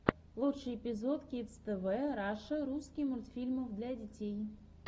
лучший эпизод кидс тв раша русский мультфильмов для детей